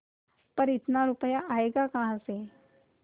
पर इतना रुपया आयेगा कहाँ से